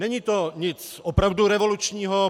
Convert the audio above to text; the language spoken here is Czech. Není to nic opravdu revolučního.